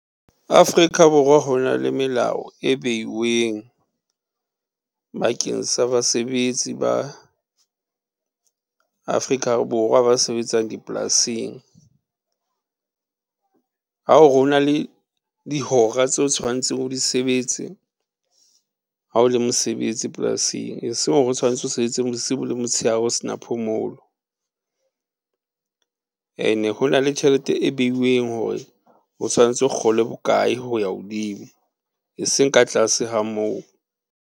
Afrika Borwa ho na le melao e beulweng, bakeng sa basebetsi ba Afrika Borwa ba sebetsang dipolasing. Ha o re ho na le dihora tse o tshwanetseng o di sebetse, ha o le mosebetsi polasing, e seng hore o tshwanetse o sebetsang bosibu le motshehare o se na phomolo. Ene ho na le tjhelete e beuweng hore, o tshwanetse o kgola bokae ho ya hodimo, e seng ka tlase ha moo.